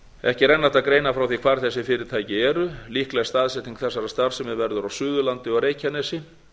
ekki er enn hægt að greina frá því hver þessi fyrirtæki eru líkleg staðsetning þessarar starfsemi verður á suðurlandi og reykjanesi